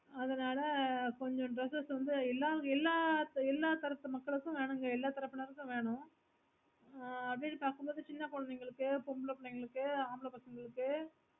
அதுனால கொஞ்ச dresses வந்து எல்லா எல்லா எல்லாத்தரப்பு மக்களுக்கு வேணும்க எல்லா எல்லா திறப்புநருக்கும் வேணும் ஆஹ் அப்புடின்னு பக்க மோடு சின்ன குழந்தைக்ளுக்கு பொம்பளபுள்ளைகளுக்கு அம்பலபசங்களுக்கு